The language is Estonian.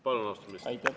Palun, austatud minister!